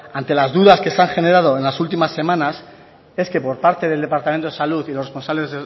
ante las dudas que se han generado en las últimas semanas es que por parte del departamento de salud y los responsables